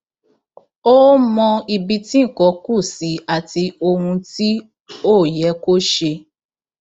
ó ó mọ ibi tí nǹkan kù sí àti ohun tí ò yẹ kó ṣe